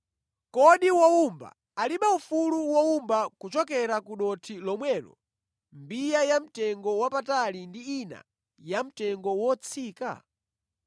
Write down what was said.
Kodi wowumba alibe ufulu wowumba kuchokera ku dothi lomwelo mbiya yamtengowapatali ndi ina yamtengo wotsika?